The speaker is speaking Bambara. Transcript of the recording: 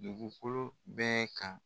Dugukolo bɛɛ kan.